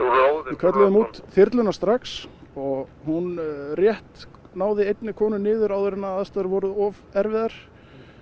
við kölluðum út þyrluna strax og hún rétt náði einni konu niður áður en aðstæður voru of erfiðar